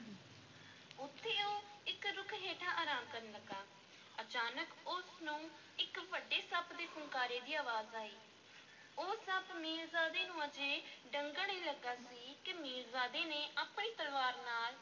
ਉੱਥੇ ਉਹ ਇੱਕ ਰੁੱਖ ਹੇਠਾਂ ਅਰਾਮ ਕਰਨ ਲੱਗਾ ਅਚਾਨਕ ਉਸ ਨੂੰ ਇੱਕ ਵੱਡੇ ਸੱਪ ਦੇ ਫੁੰਕਾਰੇ ਦੀ ਅਵਾਜ਼ ਆਈ, ਉਹ ਸੱਪ ਮੀਰਜ਼ਾਦੇ ਨੂੰ ਅਜੇ ਡੰਗਣ ਹੀ ਲੱਗਾ ਸੀ ਕਿ ਮੀਰਜ਼ਾਦੇ ਨੇ ਆਪਣੀ ਤਲਵਾਰ ਨਾਲ